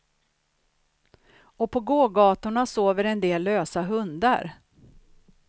Och på gågatorna sover en del lösa hundar.